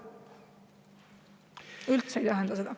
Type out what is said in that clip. See üldse ei tähenda seda.